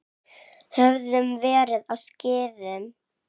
Höfðum verið á skíðum.